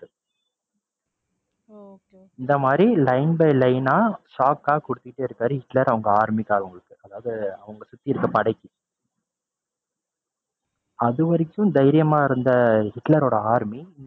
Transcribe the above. இந்த மாதிரி line by line ஆ shock ஆ குடுத்துட்டே இருக்காரு ஹிட்லர் அவங்க army காரவங்களுக்கு அதாவது அவங்களை சுத்தி இருந்த படைக்கு அதுவரைக்கும் தைரியமா இருந்த ஹிட்லரோட army